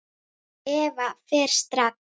Eva fer strax.